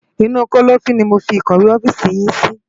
Inu kòlòfin ni mó fi ikòwé òfisi yin si